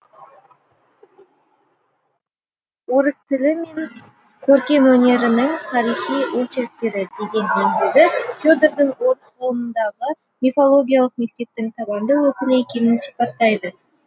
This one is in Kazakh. орыс тілі мен көркемөнерінің тарихи очерктері деген еңбегі федордың орыс ғылымындағы мифологиялық мектептің табанды өкілі екенін сипаттайды